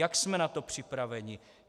Jak jsme na to připraveni?